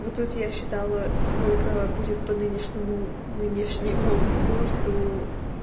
вот тут я считала сколько будет по нынешнему нынешнему курсу